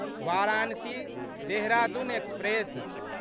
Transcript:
Varanasi Dehradun express